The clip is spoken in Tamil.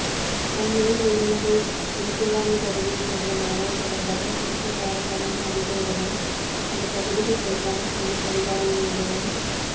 அண்மையில் உயிரிழந்த இறக்குவானை பகுதியை சேர்ந்த மாணவன் தொடர்பாக குறித்த பாடசாலையின் அதிபரிடமும் அந்த பகுதிக்கு பொறுப்பான பொலிஸ் அதிகாரிகளிடமும்